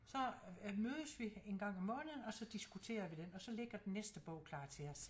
Så mødes vi en gang om måneden og så diskuterer vi den og så ligger den næste bog klar til os